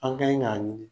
An ka ɲi k'a ɲini